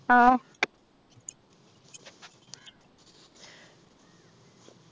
ആഹ്